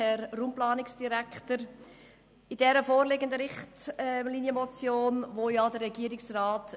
Der Regierungsrat will die vorliegende Richtlinienmotion entgegennehmen;